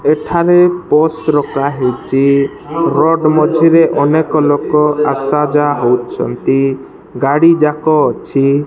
ଏଠାରେ ରଖା ହୋଇଛି ରୋଡ ମଝି ରେ ଅନେକ ଲୋକ ଆସା ଯାଆ ହଉଛନ୍ତି ଗାଡ଼ି ଯାକ ଅଛି।